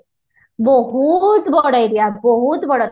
ବୋହୁତ ବଡ area ବୋହୁତ ବଡ